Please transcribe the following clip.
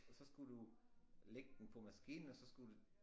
Og så skulle du lægge den på maskinen og så skulle du